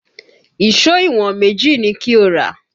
Ìṣó ìwọ̀n méjì ni kí o rà!